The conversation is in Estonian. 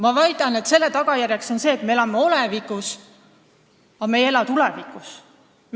Ma väidan, et selle tagajärjeks on see, et me elame olevikus, aga me ei ela tulevikus.